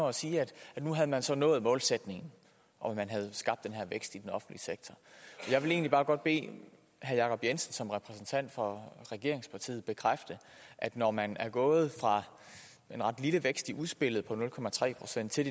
at sige at nu havde man så nået målsætningen og at man havde skabt den her vækst i den offentlige sektor jeg vil egentlig bare godt bede herre jacob jensen som repræsentant for regeringspartiet bekræfte at når man er gået fra en ret lille vækst i udspillet på nul procent til